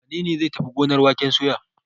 Wane ne zai tafi gonar waken soya?